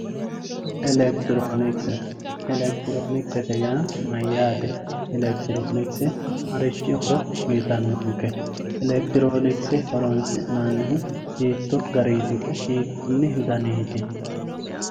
elekitiroonikise yaa mayyate elekitiroonikise yaa marichi horo uyiitannonke? elekitiroonikise horonsi'nannihu hiitto garinniti woy hiikkunni daniiti?